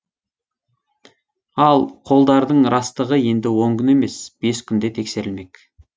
ал қолдардың растығы енді он күн емес бес күнде тексерілмек